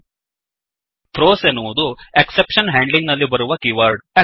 throws throws ಎನ್ನುವುದು exception handling exception handling ನಲ್ಲಿ ಬಳಸುವ ಕೀವರ್ಡ್